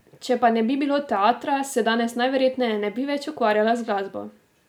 Če pa ne bi bilo teatra, se danes najverjetneje ne bi več ukvarjala z glasbo.